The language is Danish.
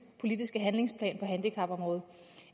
politiske handlingsplan for handicapområdet